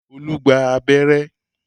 Olú gba abẹ́rẹ́